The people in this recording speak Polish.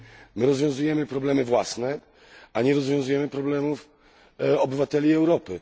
My rozwiązujemy problemy własne, a nie rozwiązujemy problemów obywateli Europy.